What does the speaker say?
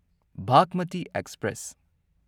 Bhagmati express